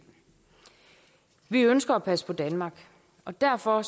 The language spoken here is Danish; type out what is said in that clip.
vi ønsker at passe på danmark og derfor